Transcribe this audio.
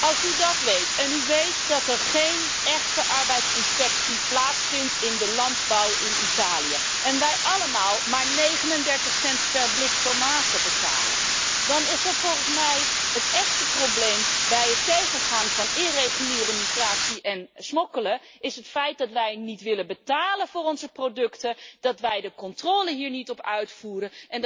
Als u dat weet en u weet dat er geen echte arbeidsinspectie plaatsvindt in de landbouw in Italië, en wij allemaal maar 39 cent per blik tomaten betalen, dan is volgens mij het echte probleem bij het tegengaan van irreguliere migratie en smokkelen het feit dat wij niet willen betalen voor onze producten, dat wij de controle hier niet op uitvoeren.